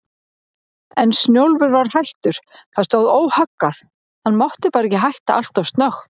En Snjólfur var hættur, það stóð óhaggað, hann mátti bara ekki hætta alltof snöggt.